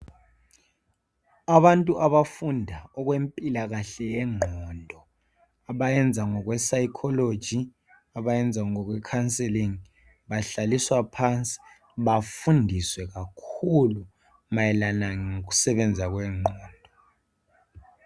abantu abafunda okwempilakahle yenqondo abayenza ngokwe sayikholoji abayenza ngokwe khanselingi bahlaliswa phansi bafundiswe kakhulu mayelana ngokusebenza kwenqondo